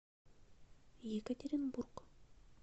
екатеринбург